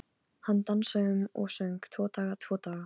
Hann dansaði um og söng: Tvo daga, tvo daga